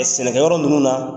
sɛnɛkɛ yɔrɔ ninnu na